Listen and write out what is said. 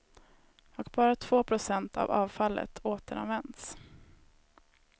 Och bara två procent av avfallet återanvänds.